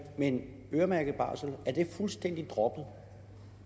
men øremærket barsel er det fuldstændig droppet